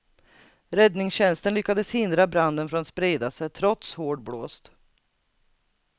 Räddningstjänsten lyckades hindra branden från att sprida sig, trots hård blåst.